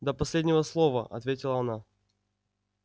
до последнего слова ответила она